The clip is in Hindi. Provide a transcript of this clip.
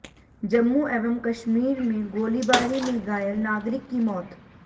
जम्मू एवं कश्मीर में गोलीबारी में घायल नागरिक की मौत